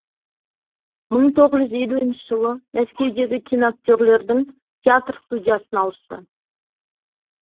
мың тоғыз жүз елуінші жылы мәскеудегі киноактерлердің театр студиясына ауысты